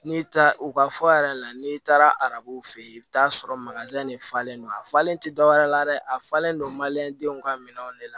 N'i taara u ka fɔ yɛrɛ la n'i taara arabuw fɛ yen i bɛ taa sɔrɔ de falen don a falen tɛ dɔwɛrɛ la dɛ a falen don denw ka minɛnw de la